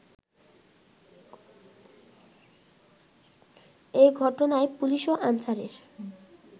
এ ঘটনায় পুলিশ ও আনসারের